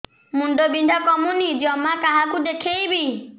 ମୁଣ୍ଡ ବିନ୍ଧା କମୁନି ଜମା କାହାକୁ ଦେଖେଇବି